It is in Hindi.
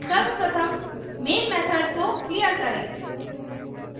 सर्वप्रथम main method को clear करें